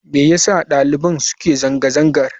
Me yasa daliban suke zanga-zangar?